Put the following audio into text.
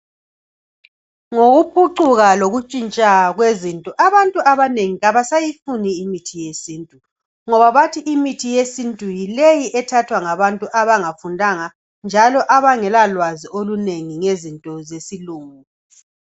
Ngokuphucuka lokutshintsha kwezinto abantu abanengi abasayifuni imithi yesintu ngoba abathi imithi yesintu yileyi ethathwa ngabantu abangafundanga njalo abangela lwazi olunengi ngezinto zesilungu.